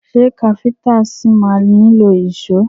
Ṣé káfíntà ṣi ma nílò ìṣó?